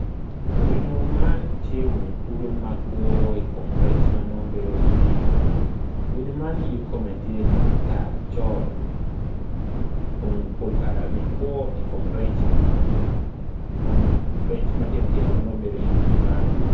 Winyo man tye winyo kulu ma kwo i kom rec ma bedo i pii winyo man ye kome tye tar col kun pol kare-ni kwo i kom rec matino tino ma nongo bedi i pii man